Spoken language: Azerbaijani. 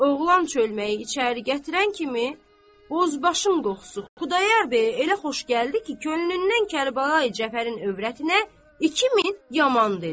Oğlan çölməyi içəri gətirən kimi bozbaşın qoxusu Xudayar bəyə elə xoş gəldi ki, könlündən Kərbəlayı Cəfərin övrətinə iki min yaman dedi.